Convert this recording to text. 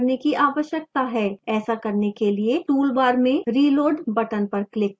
ऐसा करने के लिए toolbar में reload button पर click करें